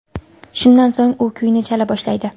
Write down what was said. Shundan so‘ng u kuyni chala boshlaydi.